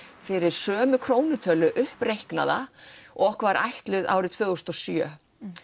fyrir sömu krónutölu uppreiknaða og okkur var ætluð árið tvö þúsund og sjö